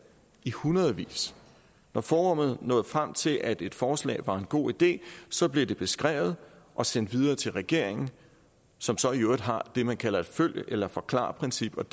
i hundredvis når forummet nåede frem til at et forslag var en god idé så blev det beskrevet og sendt videre til regeringen som så i øvrigt har det man kalder et følg eller forklar princip